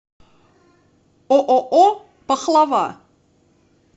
ооо пахлава